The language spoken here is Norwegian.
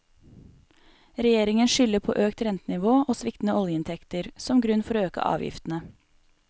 Regjeringen skylder på økt rentenivå og sviktende oljeinntekter, som grunn for å øke avgiftene.